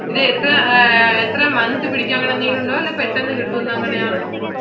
ഇത് എത്ര month പിടിക്കും അങ്ങനെ എന്തെങ്കിലും ഉണ്ടോ അതോ പെട്ടന്ന് കിട്ടുവോ അങ്ങിനെയാണോ.